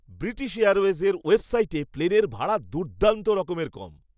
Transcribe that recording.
British এয়ারওয়েজের ওয়েবসাইটে প্লেনের ভাড়া দুর্দান্ত রকমের কম!